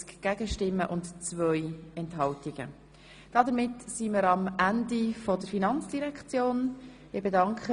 Damit sind wir am Ende der Geschäfte der Finanzdirektion angelangt.